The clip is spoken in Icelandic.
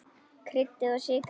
Kryddið og sykrið.